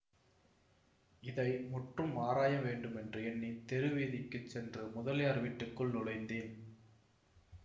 இதை முற்றும் ஆராய வேண்டுமென்று எண்ணி தெருவீதிக்குச் சென்று முதலியார் வீட்டுக்குள் நுழைந்தேன்